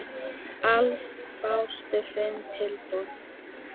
Alls bárust fimm tilboð.